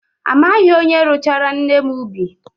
Amaghị m onye rụchaara nne m ubi.